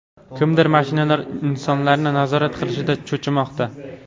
Kimdir mashinalar insonlarni nazorat qilishidan cho‘chimoqda.